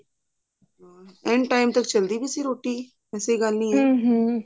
ਏਨ time ਤੱਕ ਚਲਦੀ ਵੀ ਸੀ ਰੋਟੀ ਐਸੀ ਗੱਲ ਨੀ ਹੈ